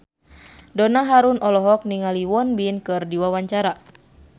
Donna Harun olohok ningali Won Bin keur diwawancara